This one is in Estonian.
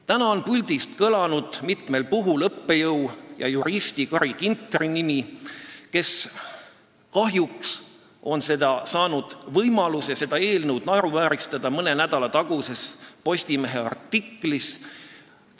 Täna on siit puldist mitmel puhul kõlanud õppejõu ja juristi Carri Ginteri nimi, kes kahjuks sai võimaluse seda eelnõu mõne nädala taguses Postimehe artiklis naeruvääristada.